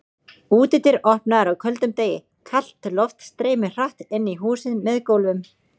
Útidyr opnaðar á köldum degi, kalt loft streymir hratt inn í húsið með gólfum.